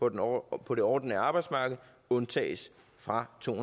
et år på det ordinære arbejdsmarked undtages fra to